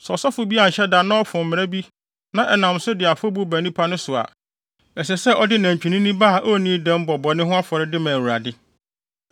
“ ‘Sɛ ɔsɔfo bi anhyɛ da na ɔfom mmara bi na ɛnam so de afɔbu ba nnipa no so a, ɛsɛ sɛ ɔde nantwinini ba a onnii dɛm bɔ bɔne ho afɔre de ma Awurade.